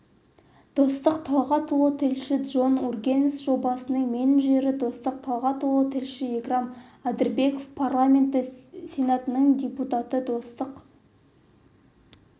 достық талғатұлы тілші джон ургенс жобасының менеджері достық талғатұлы тілші икрам адырбеков парламенті сенатының депутаты достық